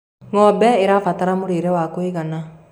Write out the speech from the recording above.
ng'ombe irabatara mũrĩre wa kũigana